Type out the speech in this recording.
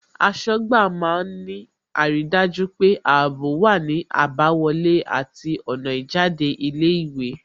Aṣọ́gbà má ń ní àrídájú pé ààbò wá ní àbáwọlé àti ọ̀nà ìjáde ilé ìwé